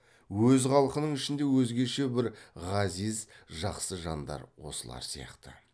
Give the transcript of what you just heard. өз халқының ішінде өзгеше бір ғазиз жақсы жандар осылар сияқты